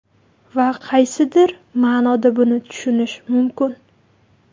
Va qaysidir ma’noda buni tushunish mumkin.